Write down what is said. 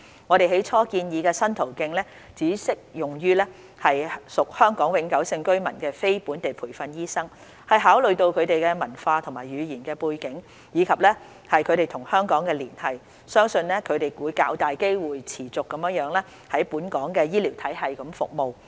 我們起初建議的新途徑只適用於屬香港永久性居民的非本地培訓醫生，是考慮到他們的文化和語言背景，以及他們與香港的連繫，相信他們會較大機會持續在本港的醫療體系服務。